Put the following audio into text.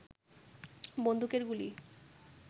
বন্দুকের গুলি